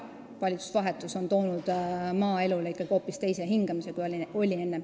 Valitsuse vahetus on toonud maaelule ikkagi hoopis teise hingamise, kui oli enne.